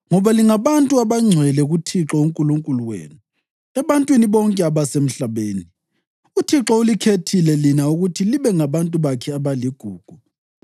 ngoba lingabantu abangcwele kuThixo uNkulunkulu wenu. Ebantwini bonke abasemhlabeni, uThixo ulikhethile lina ukuthi libe ngabantu bakhe abaligugu.